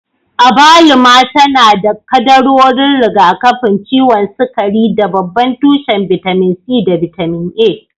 Abaluma tana da kaddarorin rigakafin ciwon sukari da babban tushen bitamin C da bitamin A.